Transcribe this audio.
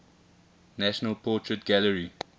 national portrait gallery